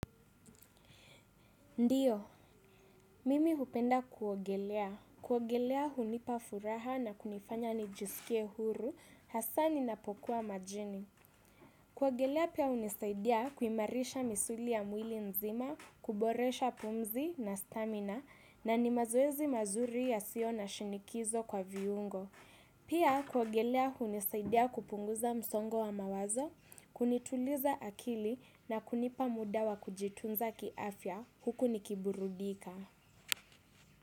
Ndiyo, mimi hupenda kuogelea. Kuogelea hunipa furaha na kunifanya nijiskie huru hasaa ninapokuwa majini. Kuogelea pia unisaidia kuimarisha misuli ya mwili mzima, kuboresha pumzi na stamina na ni mazoezi mazuri yasiyo na shinikizo kwa viungo. Pia kuogelea hunisaidia kupunguza msongo wa mawazo, kunituliza akili na kunipa muda wa kujitunza kiafya huku nikiburudika.